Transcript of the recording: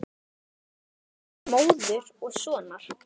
Sterk tengsl móður og sonar.